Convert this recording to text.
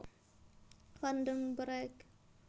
Van den Broek